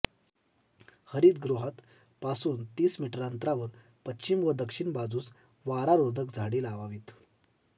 हरितगृहात पासून तीस मीटर अंतरावर पश्चिम व दक्षिण बाजूस वारा रोधक झाडे लावावीत